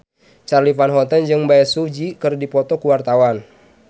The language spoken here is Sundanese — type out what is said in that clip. Charly Van Houten jeung Bae Su Ji keur dipoto ku wartawan